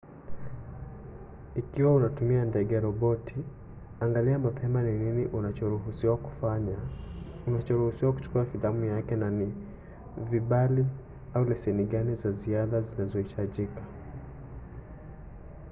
ikiwa unatumia ndege-roboti angalia mapema ni nini unachoruhusiwa kuchukua filamu yake na ni vibali au leseni gani za ziada zinazohitajika